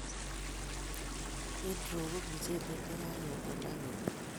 Windrow ko mchelek che kaketem aketum